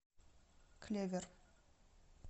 клевер